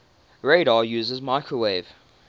radar uses microwave